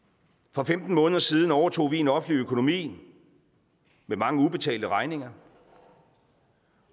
for femten måneder siden overtog vi en offentlig økonomi med mange ubetalte regninger